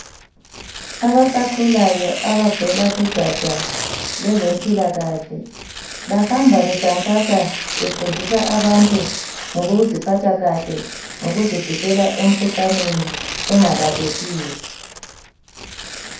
Abasakhulayo abavela kugatsha lwezempilakahle bahamba bekhankasa befundisa abantu ngokuziphatha kahle, ngokuzivikela emkhuhlaneni engalaphekiyo.